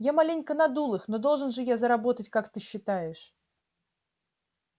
я маленько надул их но должен же я заработать как ты считаешь